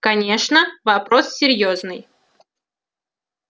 конечно вопрос серьёзный